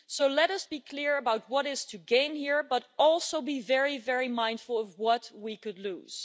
Let us be clear about what is to gain here, but also be very very mindful of what we could lose.